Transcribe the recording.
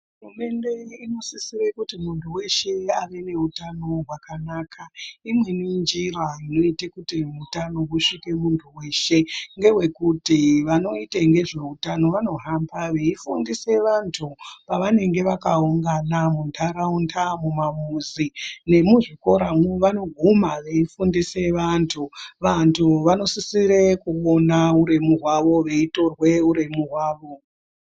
Hurumende inosisire kuti minthu weshe ave neutano hwakanaka, imweni njira yekuti utano husvike kumuntu weshe ngeyekuti vanoita ngezveutano vanohamba veifundise vanthu pavanenge vakaungana muntaraunda, mumamuzi nemuzvikora vanoguma veifundisa vantu. Vanthu vanosisire kuona uremu hwavo veitorwe uremu hwavo.